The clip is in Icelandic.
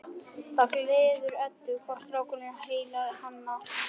Það gleður Eddu hvað strákurinn heillar hana.